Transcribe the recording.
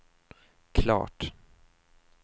klart